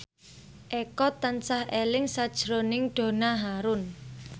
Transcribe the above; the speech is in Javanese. Eko tansah eling sakjroning Donna Harun